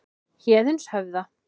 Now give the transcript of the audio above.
Héðinshöfða